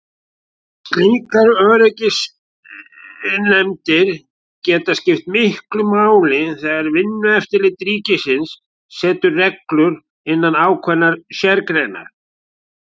Slíkar öryggisnefndir geta skipt miklu máli þegar Vinnueftirlit ríkisins setur reglur innan ákveðinnar sérgreinar.